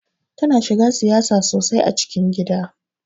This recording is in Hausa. Tana shiga siyasa sosai a cikin gida.